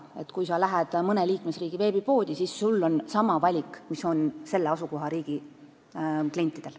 Nii et kui sa lähed mõne liikmesriigi veebipoodi, siis on sul sama valik, mis on selle riigi klientidel.